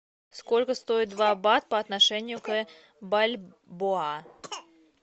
сколько стоит два бат по отношению к бальбоа